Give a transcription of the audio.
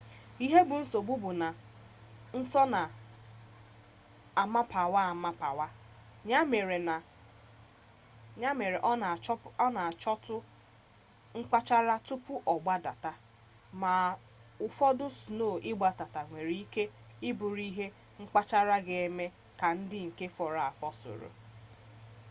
ihe bụ nsogbu bụ na sno na-amapawa amapawa ya mere ọ na-achọtụ mkpachara tupu ọ gbadata ma ụfọdụ sno ịgbadata nwere ike bụrụ ihe mkpachara ga-eme ka ndị nke fọrọ afọ soro